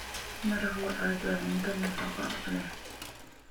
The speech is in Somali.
Maraq lo'aad waa cunto nafaqo leh.